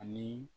Ani